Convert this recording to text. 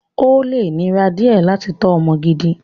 Ó lè nira díẹ̀ láti tọ́ ọmọ gidi.